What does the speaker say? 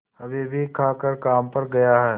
अभीअभी खाकर काम पर गया है